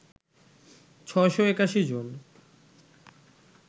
৬৮১ জন